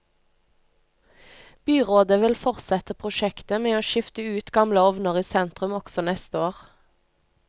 Byrådet vil fortsette prosjektet med å skifte ut gamle ovner i sentrum også neste år.